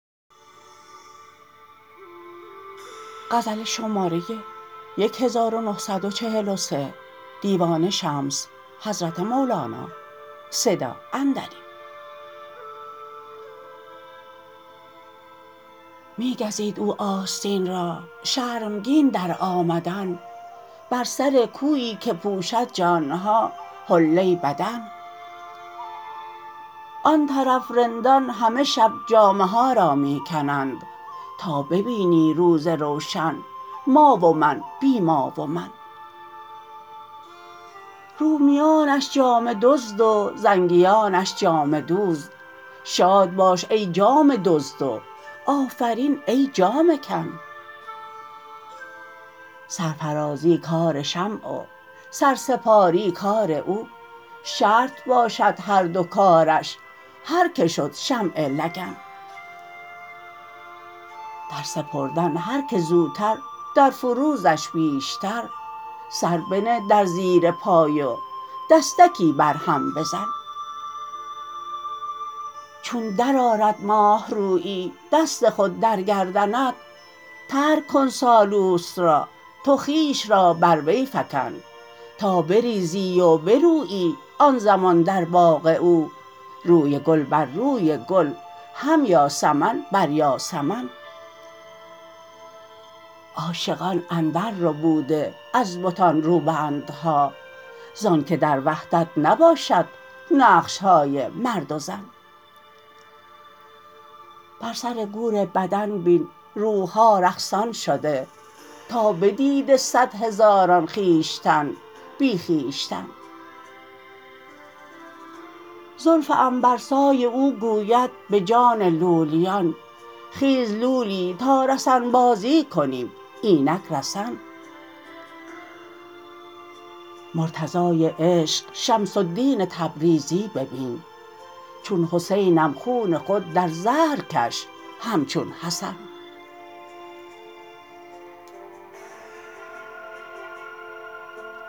می گزید او آستین را شرمگین در آمدن بر سر کویی که پوشد جان ها حله بدن آن طرف رندان همه شب جامه ها را می کنند تا ببینی روز روشن ما و من بی ما و من رومیانش جامه دزد و زنگیانش جامه دوز شاد باش ای جامه دزد و آفرین ای جامه کن سرفرازی کار شمع و سرسپاری کار او شرط باشد هر دو کارش هر کی شد شمع لگن در سپردن هر کی زودتر در فروزش بیشتر سر بنه در زیر پای و دستکی بر هم بزن چون درآرد ماه رویی دست خود در گردنت ترک کن سالوس را تو خویش را بر وی فکن تا بریزی و برویی آن زمان در باغ او روی گل بر روی گل هم یاسمن بر یاسمن عاشقان اندرربوده از بتان روبندها زانک در وحدت نباشد نقش های مرد و زن بر سر گور بدن بین روح ها رقصان شده تا بدیده صد هزاران خویشتن بی خویشتن زلف عنبرسای او گوید به جان لولیان خیز لولی تا رسن بازی کنیم اینک رسن مرتضای عشق شمس الدین تبریزی ببین چون حسینم خون خود در زهر کش همچون حسن